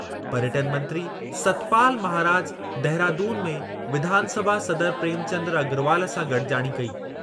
पर्यटन मंत्री सतपाल महाराज देहरादून में विधानसभा सदर प्रेमचंद अग्रवाल सां गॾिजाणी कई।